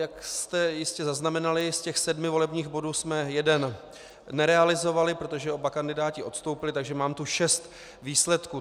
Jak jste jistě zaznamenali, z těch sedmi volebních bodů jsme jeden nerealizovali, protože oba kandidáti odstoupili, takže tu mám šest výsledků.